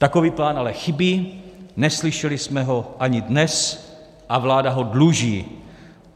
Takový plán ale chybí, neslyšeli jsme ho ani dnes a vláda ho dluží.